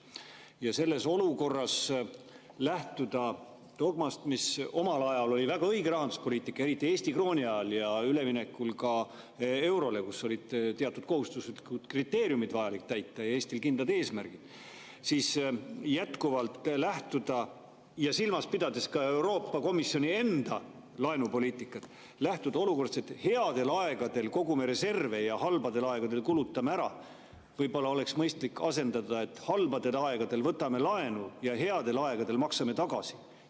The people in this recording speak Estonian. Ja selles olukorras lähtuda dogmast – mis omal ajal oli väga õige rahanduspoliitikas, eriti Eesti krooni ajal ja ka üleminekul eurole, kui Eestil olid teatud kriteeriumid ja kindlad eesmärgid vaja täita, ja silmas pidades ka Euroopa Komisjoni enda laenupoliitikat –, lähtuda olukorrast, et headel aegadel kogume reserve ja halbadel aegadel kulutame ära, oleks võib-olla mõistlik asendada, et halbadel aegadel võtame laenu ja headel aegadel maksame tagasi.